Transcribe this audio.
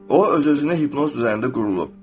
O öz-özünə hipnoz üzərində qurulur.